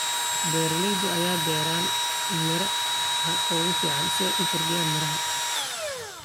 Beeralayda ayaa beera miraha ugu fiican si ay u kordhiyaan miraha.